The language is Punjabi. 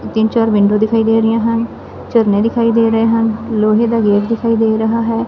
ਤਿੰਨ ਚਾਰ ਵਿੰਡੋ ਦਿਖਾਈ ਦੇ ਰਹੀਆ ਹਨ ਝਰਨੇਂ ਦਿਖਾਈ ਦੇ ਰਹੇ ਹਨ ਲੋਹੇ ਦਾ ਗੇਟ ਦਿਖਾਈ ਦੇ ਰਹਾ ਹੈ।